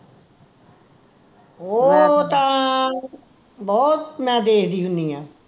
ਓਹ ਤਾਂ ਬਹੁਤ ਮੈਂ ਦੇਖਦੀ ਹੁੰਦੀ ਆ